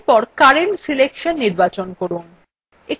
এরপর current selection নির্বাচন করুন